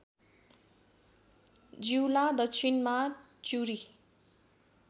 जिउला दक्षिणमा चिउरी